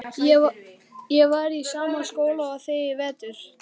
Ég var í sama skóla og þið í vetur.